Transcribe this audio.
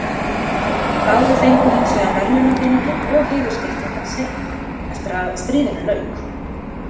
Báðir fengu hins vegar verðlaunapeninginn og heiðursskírteinin seinna, eftir að stríðinu lauk.